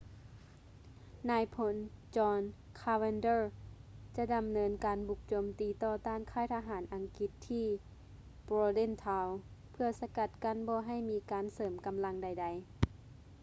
ນາຍພົນ john cadwalder ຈະດຳເນີນການບຸກໂຈມຕີຕໍ່ຕ້ານຄ້າຍທະຫານອັງກິດທີ່ bordentown ເພື່ອສະກັດກັ້ນບໍ່ໃຫ້ມີການເສີມກຳລັງໃດໆ